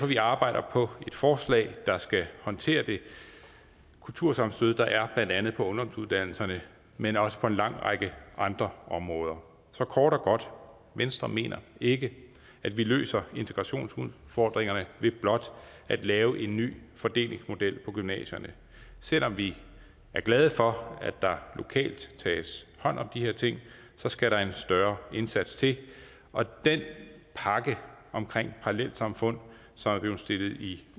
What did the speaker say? vi arbejder på et forslag der skal håndtere det kultursammenstød der er blandt andet ungdomsuddannelserne men også på en lang række andre områder så kort og godt venstre mener ikke at vi løser integrationsudfordringerne ved blot at lave en ny fordelingsmodel for gymnasierne selv om vi er glade for at der lokalt tages hånd om de her ting skal der en større indsats til og den pakke omkring parallelsamfund som er blevet stillet i